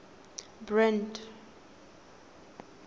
brand